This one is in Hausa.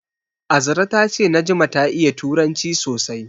Azra ta ce Najma ta iya turanci sosai.